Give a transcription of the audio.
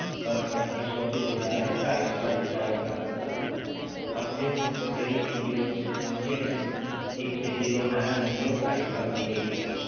ਪਰ ਪੱਚੀ ਸੋ ਦੇ ਬਿਜਾਏ ਢਾਈ ਸੋ ਦਾ ਰਿਚਾਰਜ ਕਰਤਾ ਤੁਹਾਡਾ ਸਮਜਏ ਓ ਜਿਹੜੀ ਇਕ ਜ਼ੀਰੋ ਸਮਜੀ ਜਾਣੇ ਹੋ ਉਹ ਇਕ ਜ਼ੀਰੋ ਹੈ ਨਹੀਂ ਜੇ ਉਹ ਢਾਈ ਸੋ ਰੁਪਇਆ ਹੀ ਆ